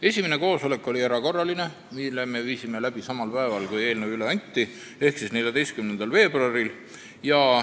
Esimene koosolek oli erakorraline ja toimus samal päeval, kui eelnõu üle anti, ehk 14. veebruaril.